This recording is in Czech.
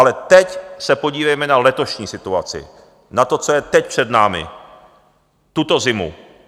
Ale teď se podívejme na letošní situaci, na to, co je teď před námi, tuto zimu.